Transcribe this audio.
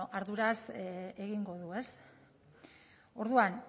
ba bueno arduraz egingo du orduan